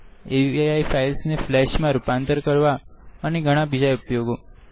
AVI files ને flash માં રૂપાંતરિત કરવા અને ઘણા બીજા ઉપયોગો